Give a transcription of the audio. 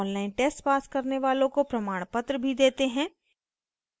online test pass करने वालों को प्रमाणपत्र भी देते हैं